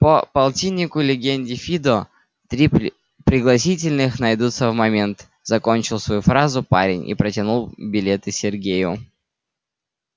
по полтиннику легенде фидо три пригласительных найдутся в момент закончил свою фразу парень и протянул билеты сергею